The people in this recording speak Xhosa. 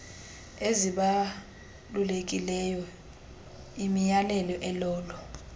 ezibalulekileyo imiyalelo elolo